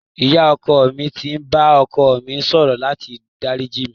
Ìyá ọkọ mi ti bá ọkọ mi sọ̀rọ̀ láti dáríjì mí.